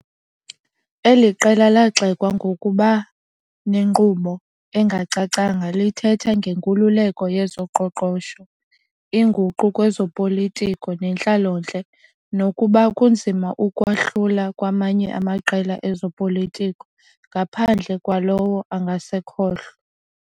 Eli qela lagxekwa ngokuba nenkqubo engacacanga, lithetha ngenkululeko yezoqoqosho, inguqu kwezopolitiko nentlalontle, nokuba kunzima ukwahlula kwamanye amaqela ezopolitiko ngaphandle kwalowo angasekhohlo.